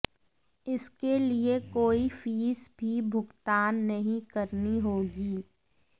इसके लिए कोई फीस भी भुगतान नहीं करनी होगी